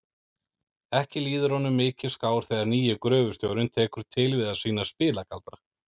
Ekki líður honum mikið skár þegar nýi gröfustjórinn tekur til við að sýna spilagaldra.